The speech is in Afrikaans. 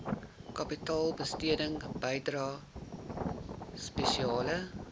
kapitaalbesteding bydrae spesiale